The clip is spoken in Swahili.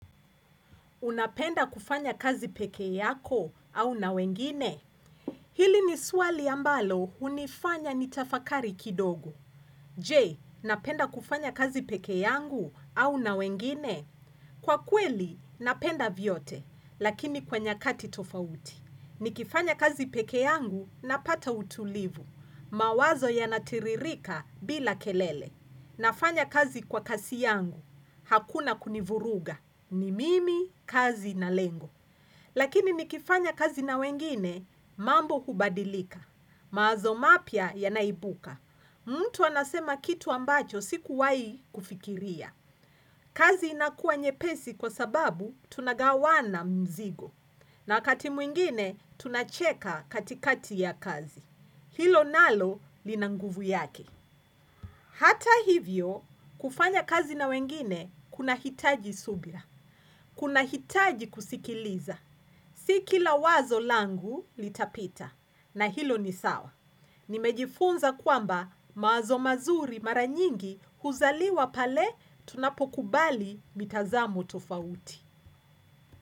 Unapenda kufanya kazi peke yako au na wengine? Hili ni swali ambalo hunifanya nitafakari kidogo. Je, napenda kufanya kazi peke yangu au na wengine? Kwa kweli, napenda vyote, lakini kwa nyakati tofauti. Nikifanya kazi peke yangu, napata utulivu. Mawazo yanatiririka bila kelele. Nafanya kazi kwa kasi yangu. Hakuna kunivuruga. Ni mimi, kazi na lengo. Lakini nikifanya kazi na wengine, mambo hubadilika. Mawazo mapya yanaibuka. Mtu anasema kitu ambacho, sikuwahi kufikiria. Kazi inakuwa nyepesi kwa sababu, tunagawana mzigo. Na wakati mwingine, tunacheka katikati ya kazi. Hilo nalo lina nguvu yake. Hata hivyo, kufanya kazi na wengine, kuna hitaji subira Kuna hitaji kusikiliza. Si kila wazo langu litapita. Na hilo ni sawa. Nimejifunza kwamba mawazo mazuri mara nyingi huzaliwa pale tunapokubali mitazamo tofauti.